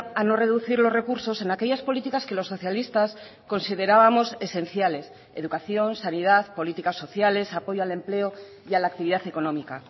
a no reducir los recursos en aquellas políticas que los socialistas considerábamos esenciales educación sanidad políticas sociales apoyo al empleo y a la actividad económica